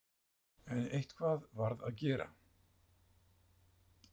En eitthvað varð að gera.